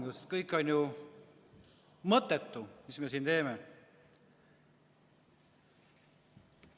Sest kõik on ju mõttetu, mis me siin teeme.